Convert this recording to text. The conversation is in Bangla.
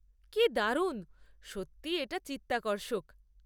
কি দারুণ! সত্যিই এটা চিত্তাকর্ষক।